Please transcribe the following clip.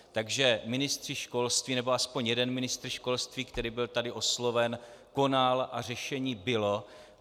Takže ministři školství, nebo aspoň jeden ministr školství, který byl tady osloven, konal, a řešení bylo.